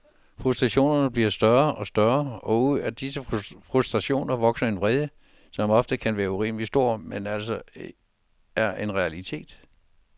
Frustrationerne bliver større og større, og ud af disse frustrationer vokser en vrede, som ofte kan være urimelig stor, men altså er en realitet.